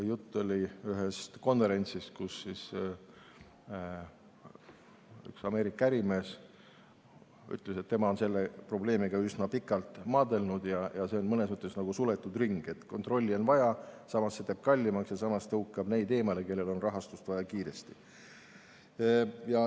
Jutt on ühest konverentsist, kus üks Ameerika ärimees ütles, et tema on selle probleemiga üsna pikalt maadelnud ja see on mõnes mõttes nagu suletud ring: kontrolli on vaja, samas teeb see kõik kallimaks ja tõukab eemale neid, kellel on rahastust vaja kiiresti.